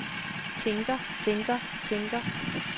tænker tænker tænker